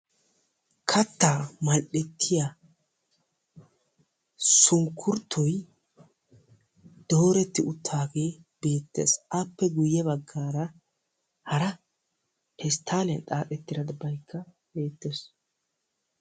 Kattaa mal7ettiya sunkkurttoyi dooretti uttaagee beettes. Appe guyye baggaara hara pesttaaliyan xaaxettidabayikka beettes.